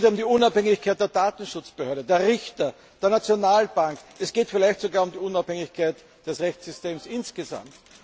Es geht um die Unabhängigkeit der Datenschutzbehörde, der Richter, der Nationalbank. Es geht vielleicht sogar um die Unabhängigkeit des Rechtssystems insgesamt.